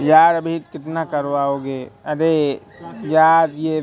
यार अभी कितना करवाओ गे अरे यार ये--